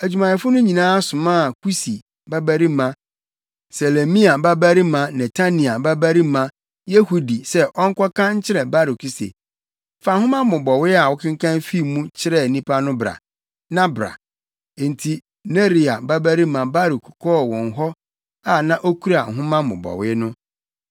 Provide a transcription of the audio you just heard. adwumayɛfo no nyinaa somaa Kusi babarima Selemia babarima Netania babarima Yehudi sɛ ɔnkɔka nkyerɛ Baruk se, “Fa nhoma mmobɔwee a wokenkan fii mu kyerɛɛ nnipa no bra, na bra.” Enti Neria babarima Baruk kɔɔ wɔn hɔ a na okura nhoma mmobɔwee no.